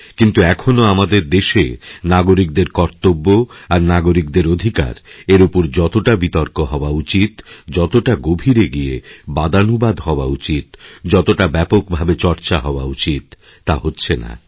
কিন্তু এখনও আমাদের দেশে নাগরিকদের কর্তব্য আর নাগরিকদের অধিকার এর উপর যতটা বিতর্ক হওয়া উচিত যতটা গভীরে গিয়ে বাদানুবাদহওয়া উচিত যতটা ব্যাপকভাবে চর্চা হওয়া উচিত তা হচ্ছে না